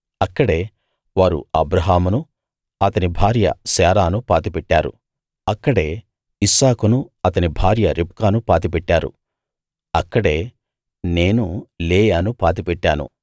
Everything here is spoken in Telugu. అక్కడే వారు అబ్రాహామునూ అతని భార్య శారాను పాతిపెట్టారు అక్కడే ఇస్సాకును అతని భార్య రిబ్కాను పాతి పెట్టారు అక్కడే నేను లేయాను పాతిపెట్టాను